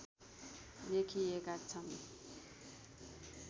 लेखिएका छन्